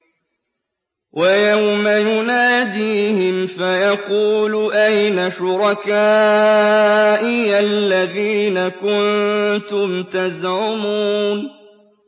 وَيَوْمَ يُنَادِيهِمْ فَيَقُولُ أَيْنَ شُرَكَائِيَ الَّذِينَ كُنتُمْ تَزْعُمُونَ